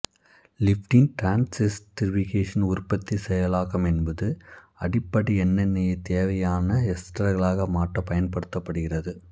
lipid transesterification உற்பத்தி செயலாக்கம் என்பது அடிப்படை எண்ணெயை தேவையான எஸ்டர்களாக மாற்றப் பயன்படுகின்றது